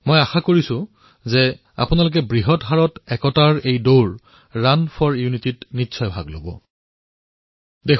মোৰ আহ্বান যে আপোনালোক সকলোৱে বৃহৎ সংখ্যাত এই ৰাণ ফৰ ইউনিটীত দলেবলে অংশগ্ৰহণ কৰক